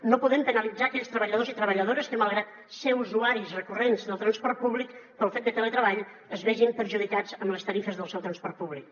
no podem penalitzar aquells treballadors i treballadores que malgrat ser usuaris recurrents del transport públic pel fet del teletreball es vegin perjudicats amb les tarifes del seu transport públic